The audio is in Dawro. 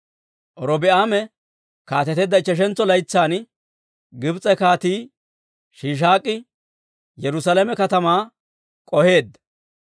Robi'aame kaateteedda ichcheshantso laytsan Gibs'e Kaatii Shiishaak'i Yerusaalame katamaa k'oheedda.